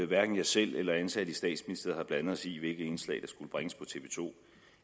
hverken jeg selv eller ansatte i statsministeriet har blandet os i hvilket indslag der skulle bringes på tv to